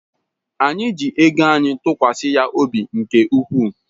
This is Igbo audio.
Anyị ji ego anyị tụkwasị ya obi nke ukwuu.